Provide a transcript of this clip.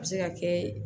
A bɛ se ka kɛ